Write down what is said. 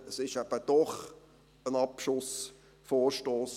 Es ist eben doch ein Abschussvorstoss.